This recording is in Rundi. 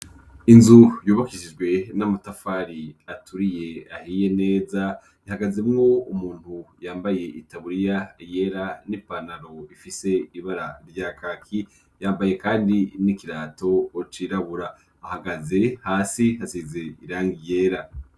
inzu yubakishijwe n'amatafari aturiye ahiye neza ahagaze mwo umuntu yambaye itaburiya yera n'ipanaro ifise ibara rya kaki yambaye kandi n'ikirato cirabura ahagaze hasi hasize irangi yera